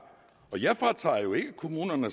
og jeg fratager jo ikke kommunerne